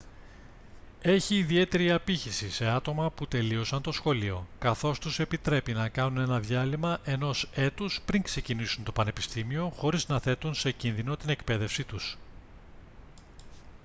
έχει ιδιαίτερη απήχηση σε άτομα που τελείωσαν το σχολείο καθώς τους επιτρέπει να κάνουν ένα διάλειμμα ενός έτους πριν ξεκινήσουν το πανεπιστήμιο χωρίς να θέτουν σε κίνδυνο την εκπαίδευσή τους